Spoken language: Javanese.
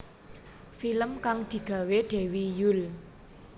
Film kang digawé Dewi Yull